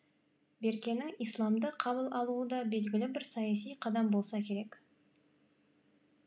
беркенің исламды қабыл алуы да белгілі бір саяси қадам болса керек